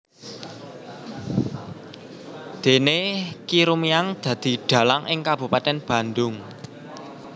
Déné Ki Rumiang dadi dhalang ing kabupatèn Bandung